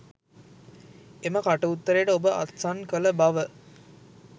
එම කටඋත්තරයට ඔබ අත්සන් කළ බව?